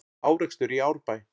Árekstur í Árbæ